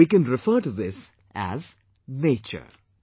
We can refer to this as 'nature'